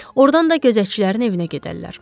Ordan da gözətçilərin evinə gedərlər.